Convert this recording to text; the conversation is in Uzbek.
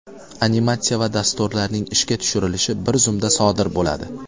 Animatsiya va dasturlarning ishga tushirilishi bir zumda sodir bo‘ladi.